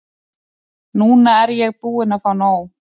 Núna er ég búin að fá nóg.